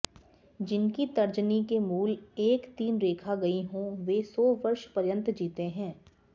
जिनकी तर्जनी के मूल तक तीन रेखा गयी हों वे सौ वर्षपर्यन्त जीते हैं